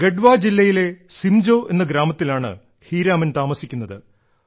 ഗഡവാ ജില്ലയിലെ സിംജോ എന്ന ഗ്രാമത്തിലാണ് ഹീരാമൻ താമസിക്കുന്നത്